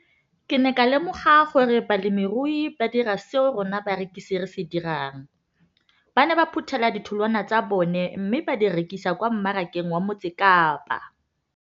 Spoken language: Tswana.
Ke ne ka lemoga gape gore balemirui ba dira seo rona barekisi re se dirang - ba ne ba phuthela ditholwana tsa bona mme ba di rekisa kwa marakeng wa Motsekapa.